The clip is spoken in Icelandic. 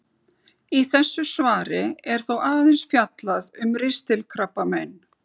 Í þessu svari er þó aðeins fjallað um ristilkrabbamein.